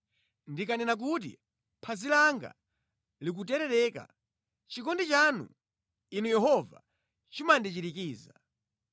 Ndikanena kuti, “Phazi langa likuterereka,” chikondi chanu, Inu Yehova, chimandichirikiza.